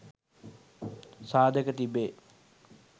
සාධක තිබේ.